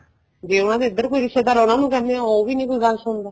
ਜ਼ੇ ਉਹਨਾ ਦਾ ਇੱਧਰ ਕੋਈ ਰਿਸ਼ਤੇਦਾਰ ਆਉਣਾ ਉਹਨੂੰ ਕਹਿੰਦੇ ਏ ਉਹ ਵੀ ਨਹੀਂ ਕੋਈ ਗੱਲ ਸੁਣਦਾ